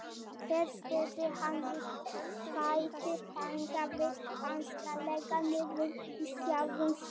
Hér spyrnti hann við fæti, þaggaði hastarlega niður í sjálfum sér.